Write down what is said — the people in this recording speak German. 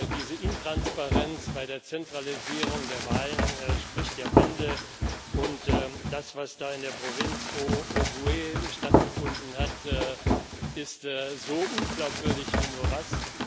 Diese Intransparenz bei der Zentralisierung der Wahl spricht ja Bände, und das, was da in der Provinz Ogooué stattgefunden hat, ist so unglaubwürdig wie nur was.